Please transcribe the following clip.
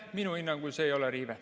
Minu hinnangul see ei ole riive.